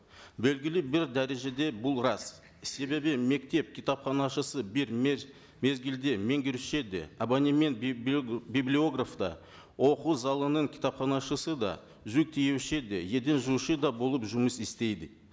белгілі бір дәрежеде бұл рас себебі мектеп кітапханашысы бір мезгілде меңгеруші де абонемент библиограф та оқу залының кітапханашысы да жүк тиеуші де еден жуушы да болып жұмыс істейді